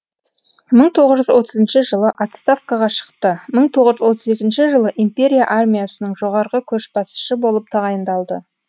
мың тоғыз жүз отызыншы жылы отставкаға шықты мың тоғыз жүз отыз екінші жылы империя армиясының жоғарғы көшбасшысы болып тағайындалды